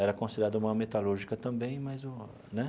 Era considerada uma metalúrgica também, mas, né?